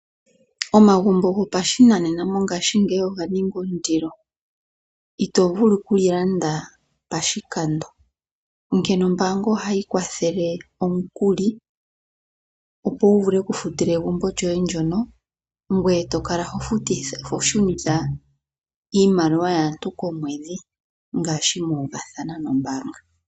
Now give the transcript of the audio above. Omagumbo gopashinanena mo ngaashingeyi oga ninga ondilo. Ito vulu ku li landa pashikando, onkene ombaanga oha yi kwathele omukuli, opo wu vule oku futila egumbo lyoye ndyono, ngweye to kala hoshunitha iimaliwa yaantu komwedhi, ngaashi mu uvathana nombaanga.